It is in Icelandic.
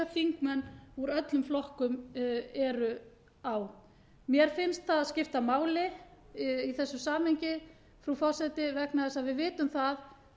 þingmenn úr öllum flokkum eru á mér finnst það skipta máli í þessu samhengi frú forseti vegna þess að við vitum það